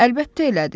Əlbəttə elədi.